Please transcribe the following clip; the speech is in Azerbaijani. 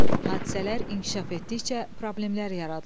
Hadisələr inkişaf etdikcə problemlər yaradılır.